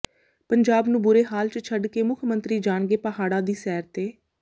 ਪੰਜਾਬ ਨੂੰ ਬੁਰੇ ਹਾਲ ਚ ਛੱਡ ਕੇ ਮੁੱਖ ਮੰਤਰੀ ਜਾਣਗੇ ਪਹਾੜਾਂ ਦੀ ਸੈਰ ਤੇ